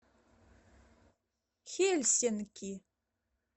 хельсинки